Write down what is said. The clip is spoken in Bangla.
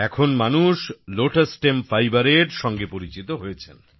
আর এখন মানুষ লোটাস স্টেম fiberএর পদ্ম ডাটার আঁশের সঙ্গে পরিচিত হয়েছেন